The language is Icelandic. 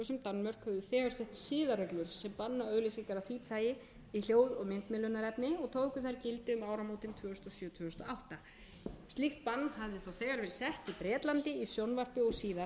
sett siðareglur sem banna auglýsingar af því tagi í hljóð og myndmiðlunarefni og tóku þær gildi um áramótin tvö þúsund og sjö tvö þúsund og átta slíkt bann hafði þá þegar verið sett í bretlandi í sjónvarpi og síðar